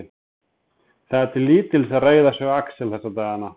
Það er til lítils að reiða sig á Axel þessa dagana.